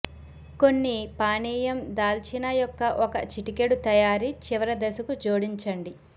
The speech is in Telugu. కొన్ని పానీయం దాల్చిన యొక్క ఒక చిటికెడు తయారీ చివరి దశకు జోడించండి